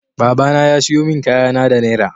Babana ya siyo min kayana da naira.